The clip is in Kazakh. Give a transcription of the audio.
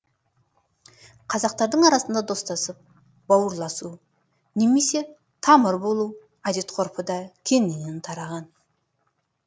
қазақтардың арасында достасып бауырласу немесе тамыр болу әдет ғұрпы да кеңінен тараған